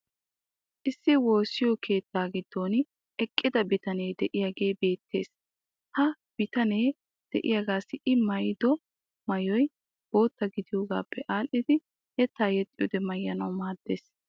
Issi woossiyo keettaa giddon eqqida bitanee diyaagee beettees. Ha bitanee diyaagaassi i maayiddo maayoy bootta giddiyoogaappe aadhdhidi yettaa yexxiyoode maayanawu maadees.